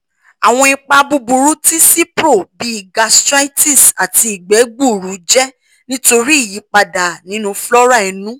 awọn ipa buburu ti cipro bii gastritis ati igbe gbuuru jẹ nitori iyipada ninu flora inu